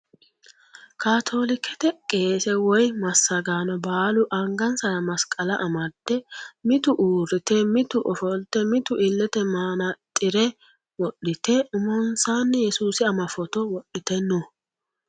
Kaatoolikete qeese woyi massagaano baalu angansara masqala amdde mitu uurrite mitu ofolte mitu illete manaxxire wodhite umonsaanni yesuusi ama footo wodhite no.